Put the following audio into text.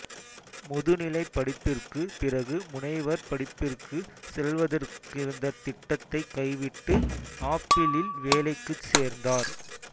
முதுநிலைப்படிப்பிற்குப் பிறகு முனைவர் படிப்பிற்கு செல்வதற்கிருந்த திட்டத்தை கைவிட்டு ஆப்பிளில் வேலைக்குச் சேர்ந்தார்